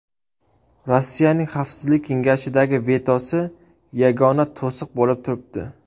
Rossiyaning Xavfsizlik kengashidagi vetosi yagona to‘siq bo‘lib turibdi.